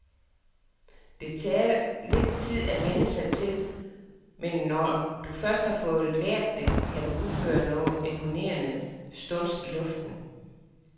Det tager lidt tid at vænne sig til, men når du først har fået lært det, kan du udføre nogen imponerende stunts i luften.